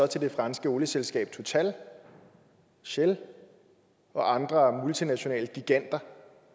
til det franske olieselskab total shell og andre multinationale giganter